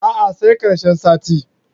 A'a sai ƙarshen sati.